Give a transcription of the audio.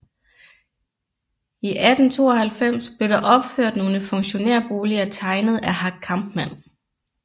I 1892 blev der opført nogle funktionærboliger tegnet af Hack Kampmann